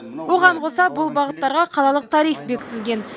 оған қоса бұл бағыттарға қалалық тариф бекітілген